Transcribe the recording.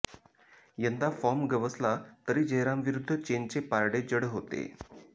यंदा फॉर्म गवसला तरी जयरामविरुद्ध चेनचे पारडे जड होते